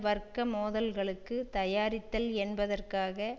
வர்க்க மோதல்களுக்கு தயாரித்தல் என்பதற்காக